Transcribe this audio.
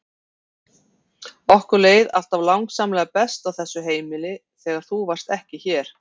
Okkur leið alltaf langsamlega best á þessu heimili þegar þú varst ekki hér!